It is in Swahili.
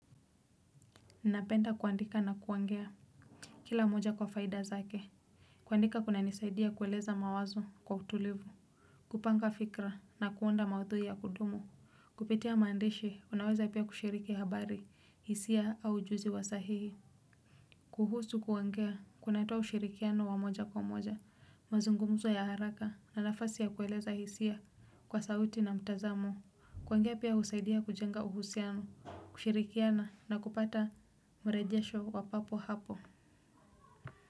Nina penda kuandika na kuongea kila moja kwa faida zake. Kuandika kuna nisaidia kueleza mawazo kwa utulivu. Kupanga fikra na kuunda maudhui ya kudumu. Kupitia maandishi unaweza pia kushiriki habari, hisia au ujuzi wa sahihi. Kuhusu kuongea, kuna toa ushirikiano wa moja kwa moja. Mazungumzo ya haraka na nafasi ya kueleza hisia kwa sauti na mtazamo. Kuongea pia husaidia kujenga uhusiano, kushirikiana na kupata mrejesho wapapo hapo.